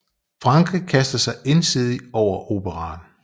Frankrig kaster sig ensidig over operaen